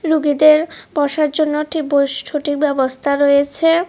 রুগীদের বসার জন্য একটি বস ছোটি ব্যবস্থা রয়েছে।